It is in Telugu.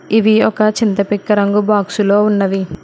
ఇవి ఒక చింతపిక్క రంగు బాక్సులో ఉన్నవి.